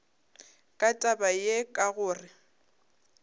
ka taba ye ka gore